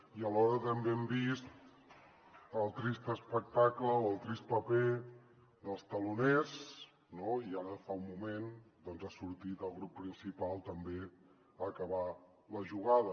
i alhora també hem vist el trist espectacle o el trist paper dels teloners no i ara fa un moment doncs ha sortit el grup principal també a acabar la jugada